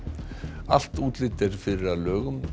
allt útlit er fyrir að lögum